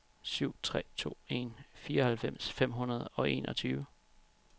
syv tre to en fireoghalvfems fem hundrede og enogtyve